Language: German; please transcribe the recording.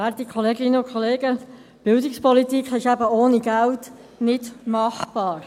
Die Bildungspolitik ist eben ohne Geld nicht machbar.